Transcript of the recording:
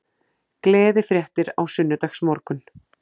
Gleðifréttir á sunnudagsmorgun